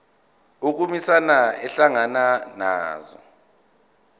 ukhomishana ehlangana nazo